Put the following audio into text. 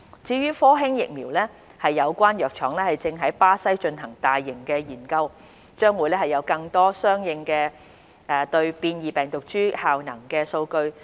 至於科興疫苗，有關藥廠正於巴西進行大規模研究，將會有更多有關應對變異病毒株的效能數據。